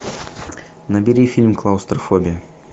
набери фильм клаустрофобия